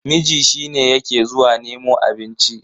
miji shi ne yake zuwa nemo abinci